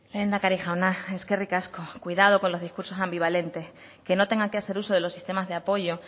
lehendakari jauna eskerrik asko cuidado con los discursos ambivalentes que no tengan que hacer uso de los sistemas de apoyo